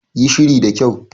Yi shiri da kyau.